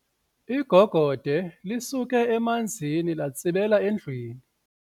Igogode lisuke emanzini latsibela endlwini.